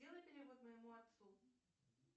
сделай перевод моему отцу